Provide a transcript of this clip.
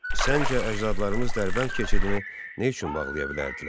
Səncə əcdadlarımız Dərbənd keçidini nə üçün bağlaya bilərdilər?